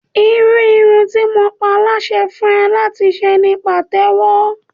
Irú irun tí mo ń pa láṣẹ fún ẹ láti ṣe ni Pàtẹ́wọ́.